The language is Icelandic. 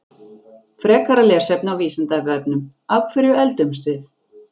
Frekara lesefni á Vísindavefnum: Af hverju eldumst við?